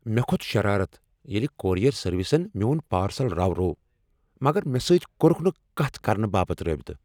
مےٚ كھوٚت شرارت ییٚلہ کورئیر سٔروسن میون پارسل راوروو مگر مےٚ سۭتۍ كورُكھ نہٕ كتھ كرنہٕ باپت رٲبطہٕ ۔